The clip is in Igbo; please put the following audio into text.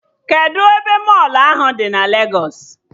Kedụ ebe mọlụ ahụ dị na Legos?